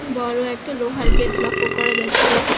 বড়ো একটা লোহার গেট লক্ষ্য করা যাচ্ছে।